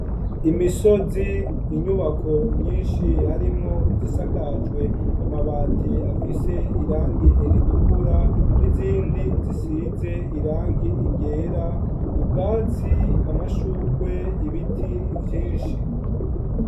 Imisozi inyubako nyinshi harimwo igisakajwe amabati afise irangi eritukura n'izindi zisize irangi igera, ubwatsi, amashugwe, ibiti vyinshi.